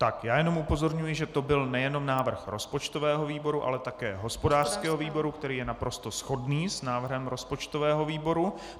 Tak, já jenom upozorňuji, že to byl nejenom návrh rozpočtového výboru, ale také hospodářského výboru, který je naprosto shodný s návrhem rozpočtového výboru.